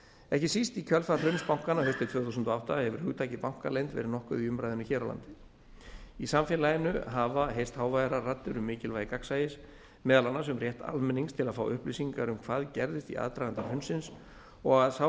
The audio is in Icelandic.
ekki síst í kjölfar hruns bankanna haustið tvö þúsund og átta hefur hugtakið bankaleynd verið nokkuð í umræðunni hér á landi í samfélaginu hafa heyrst háværar raddir um mikilvægi gagnsæis meðal annars um rétt almennings til að fá upplýsingar um hvað gerðist í aðdraganda hrunsins og að sá